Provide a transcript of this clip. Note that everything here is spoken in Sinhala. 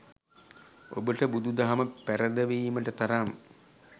ඔබට බුදු දහම පැරදවීමට තරම්